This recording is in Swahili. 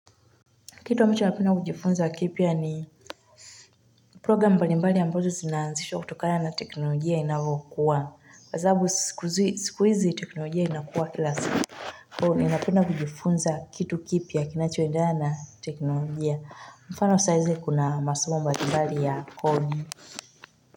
Kitu ninachopenda kujifunza kipya ni program mbalimbali ambazo zinaanzishwa kutokana na teknolojia inayokuwa kwa sababu siku hizi teknolojia inakuwa kila siku kwa hivo mimi napenda kujifunza kitu kipya kinachoendlea na teknolojia mfano saa hizi kuna mbalimbali koni.